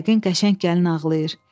Yəqin qəşəng gəlin ağlayır.